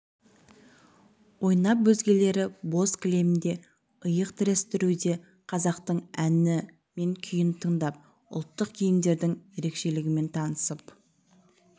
ойнап өзгелері боз кілемде иық тірестіруде қазақтың әні мен күйін тыңдап ұлттық киімдердің ерекшелігімен танысып